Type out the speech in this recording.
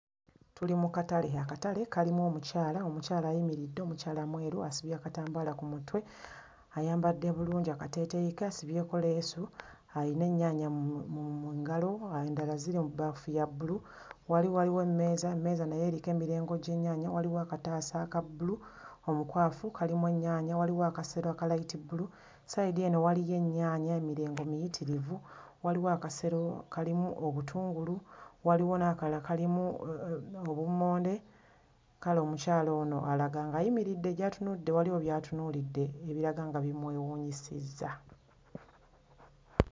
Tuli mu katale akatale kalimu omukyala omukyala ayimiridde omukyala mweru asibye akatambaala ku mutwe ayambadde bulungi akateeteeyi ke asibyeko leesu ayina ennyaanya mu mu mu ngalo uh endala ziri mu bbaafu ya bbulu. Wali waliwo emmeeza emmeeza nayo eriko emirengo gy'ennyaanya waliwo akataasa aka bbulu omukwafu kalimu ennyaanya waliwo akasero aka layitibbulu. Sayidi eno waliyo ennyaanya emirengo miyitirivu waliwo akasero mm kalimu obutungulu, waliwo n'akalala kalimu uh obummonde kale omukyala ono alaga nga ayimiridde gy'atunudde waliwo by'atunuulidde ebiraga nga bimwewuunyisizza.